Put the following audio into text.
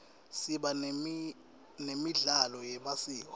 siba nemidlalo yemasiko